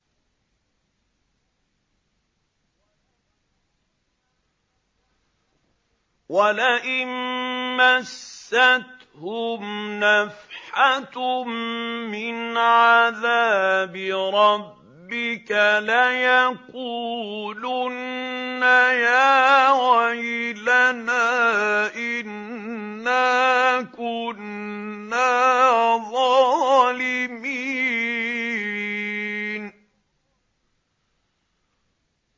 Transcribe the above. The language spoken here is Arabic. وَلَئِن مَّسَّتْهُمْ نَفْحَةٌ مِّنْ عَذَابِ رَبِّكَ لَيَقُولُنَّ يَا وَيْلَنَا إِنَّا كُنَّا ظَالِمِينَ